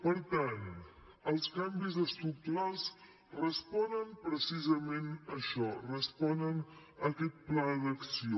per tant els canvis estructurals responen precisament a això responen a aquest pla d’acció